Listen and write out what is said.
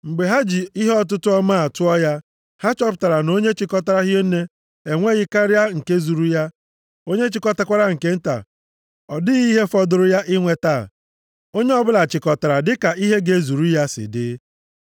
Mgbe ha ji ihe ọtụtụ ọmaa tụọ ya, ha chọpụtara na onye chịkọtara hie nne enweghị karịa nke zuru ya, onye chịkọtakwara nke nta, ọ dịghị ihe fọdụrụ ya inweta. Onye ọbụla chịkọtara dị ka ihe ga-ezuru ya si dị.